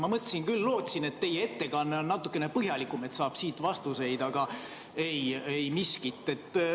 Ma mõtlesin küll ja lootsin, et teie ettekanne on natukene põhjalikum, et saab vastuseid, aga ei miskit.